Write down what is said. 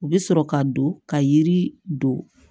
U bɛ sɔrɔ ka don ka yiri don